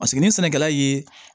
Paseke ni sɛnɛkɛla ye